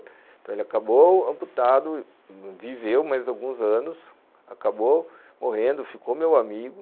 Então ele acabou amputado, viveu mais alguns anos, acabou morrendo, ficou meu amigo.